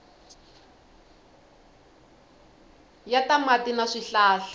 ya ta mati na swihlahla